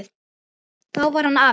Þá var hann afi.